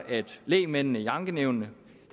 at lægmændene i ankenævnene